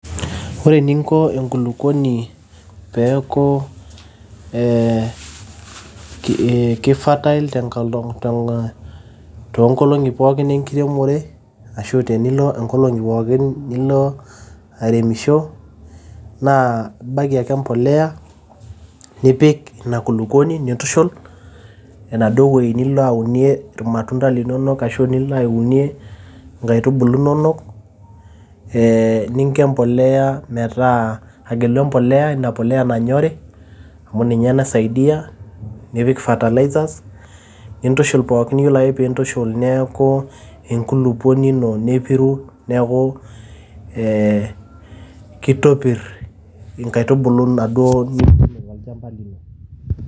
ore eninko enkulukuoni peeku ee ki fertile toonkolong'i pookin enkiremore ashu tenilo inkolong'i pookin nilo airemisho naa ibaiki ake embolea nipik ina kulukuoni nintushul enaduo wueji nilo aunie ir matunda linonok ashu nilo aunie inkaitubulu inonok ee ninko e mbolea metaa aa agelu e mbolea ina poleya nanyori amu ninye naisaidia nipik fertilizers nintushul pookin yiolo ake piintushul neeku enkulupuoni ino nepiru neeku ee kitopirr inkaitubulu inaduo nituuno tolchamba lino.